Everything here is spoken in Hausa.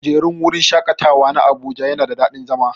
kujerun wurin shaƙatawa na abuja yana da dadin zama.